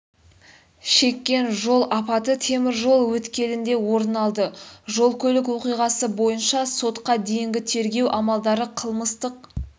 шеккен жол апаты теміржол өткелінде орын алды жол-көлік оқиғасы бойынша сотқа дейінгі тергеу амалдары қылмыстық